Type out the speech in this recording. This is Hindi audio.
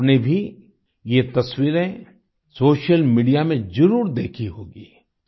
आपने भी ये तस्वीरें सोशल मीडिया में जरूर देखी होंगी